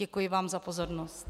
Děkuji vám za pozornost.